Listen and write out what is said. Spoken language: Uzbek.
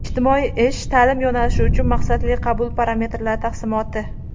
Ijtimoiy-ish ta’lim yo‘nalishi uchun maqsadli qabul parametrlari taqsimoti.